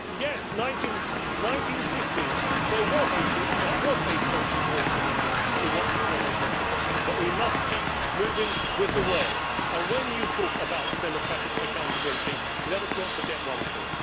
Yes, in the 1950s that was a post war solution to what had gone on before, but we must keep moving with the world. When you talk about democratic accountability, let us not forget one thing.